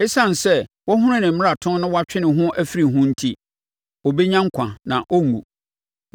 Esiane sɛ wahunu ne mmarato na watwe ne ho afiri ho enti, ɔbɛnya nkwa na ɔrenwu.